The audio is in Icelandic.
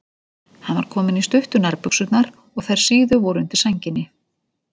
Hann var kominn í stuttu nærbuxurnar og þær síðu voru undir sænginni.